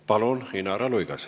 Palun, Inara Luigas!